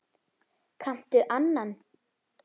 Kanntu annan?